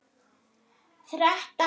Þrettán ár.